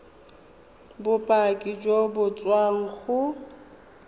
bopaki jo bo tswang go